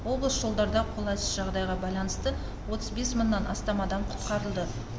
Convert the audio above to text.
облыс жолдарда қолайсыз жағдайға байланысты отыз бес мыңнан астам адам құтқарылды